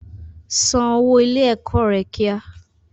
San owó ilé ẹ̀kọ́ rẹ kíá!